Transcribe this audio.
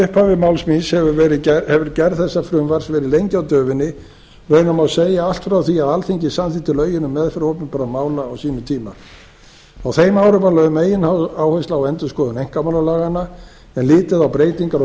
upphafi máls míns hefur gerð þessa frumvarps verið lengi á döfinni raunar má segja allt frá því að alþingi samþykkti lögin um meðferð opinberra mála á sínum tíma á þeim árum var lögð megináhersla á endurskoðun einkamálalaganna en litið á breytingar á